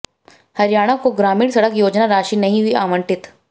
हरियाणा को ग्रामीण सड़क योजना राशि नहीं हुई आवंटित